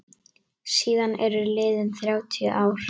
Síðan eru liðin þrjátíu ár.